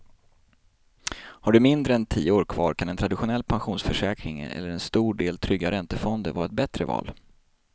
Har du mindre än tio år kvar kan en traditionell pensionsförsäkring eller en stor del trygga räntefonder vara ett bättre val.